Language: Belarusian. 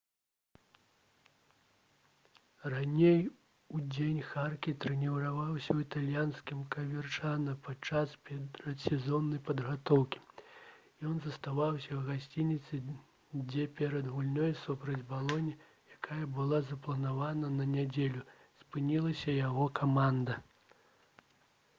раней удзень харке трэніраваўся ў італьянскім каверчана падчас перадсезоннай падрыхтоўкі ён заставаўся ў гасцініцы дзе перад гульнёй супраць балоні якая была запланавана на нядзелю спынілася яго каманда